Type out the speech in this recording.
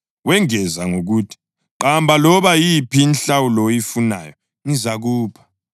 Wengeza ngokuthi, “Qamba loba yiphi inhlawulo oyifunayo, ngizakupha.”